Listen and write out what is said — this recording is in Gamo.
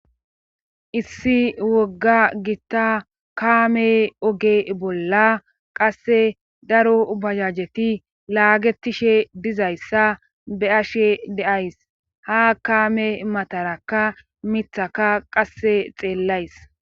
issi wogga gitta kaame oge bolla qasse daro bajajeti laagetishe dizayssa be ashe deays ha kaame matarakka mithaka qasse xeellays